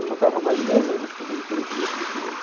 Eu tocava há mais de dez anos quando quando eu tomei essa decisão.